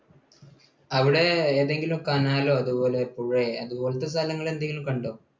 അവിടെ ഏതെങ്കിലും canal ഓ അതുപോലെ പുഴ അതുപോലെ സ്ഥലങ്ങൾ എന്തെങ്കിലും കണ്ടോ?